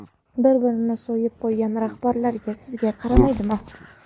Bir-birini so‘yib qo‘ygan rahbarlar sizga qaraydimi?